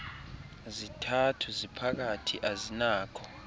zithathu ziphakathi azinakho